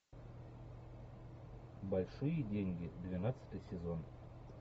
большие деньги двенадцатый сезон